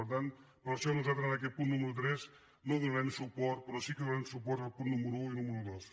per tant per això nosaltres en aquest punt número tres no hi donarem suport però sí que donarem suport als punts número un i número dos